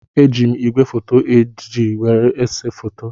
Eji m igwefoto HD were na-ese foto.